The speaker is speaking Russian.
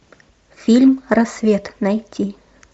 фильм рассвет найти